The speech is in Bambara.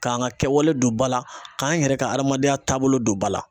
K'an ka kɛwale don ba la , k'an yɛrɛ ka adamadenya taabolo don ba la.